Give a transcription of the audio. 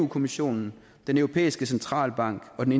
kommissionen den europæiske centralbank og den